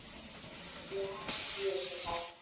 Já, hún vissi það.